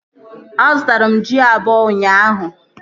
A zụtara m ji abụọ ụnyaahụ